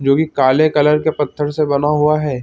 जो कि काले कलर के पत्थर से बना हुआ है।